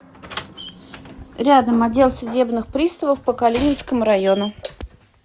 рядом отдел судебных приставов по калининскому району